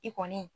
I kɔni